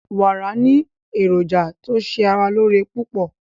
Wàrà ni èrójà tó ṣè ara lọ́ọ̀ré pupọ̀